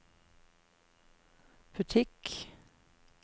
butikk